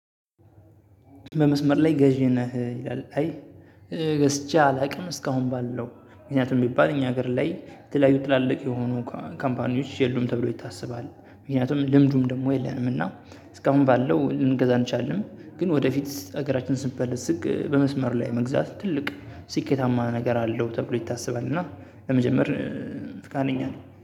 በመስመር ላይ ገዢ ነህ ይላል አይ ገዝቼ አላውቅም እስካሁን ባለው። ምክንያቱም ቢባል እኛ ሀገር ላይ የተለያዩ ትላልቅ የሆኑ ካምፓኒዎች የሉም ተብሎ ይታሰባል ምክንያቱም ልምዱም ደግሞ የለንም እና እስካሁን ባለው ልንገዛን አልቻልንም። ግን ወደፊት ሀገራችን ስትበለጽግ በመስመር ላይ መግዛት ትልቅ ስኬታማ ነገር አለው ተብሎ ይታሰባል። እና ለመጀመር ፍቃደኛ ነኝ